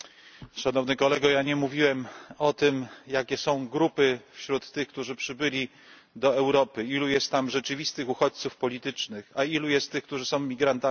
Ja nie mówiłem o tym, jakie są grupy wśród tych, którzy przybyli do Europy, ilu jest tam rzeczywistych uchodźców politycznych, a ilu jest tych, którzy są imigrantami zarobkowymi.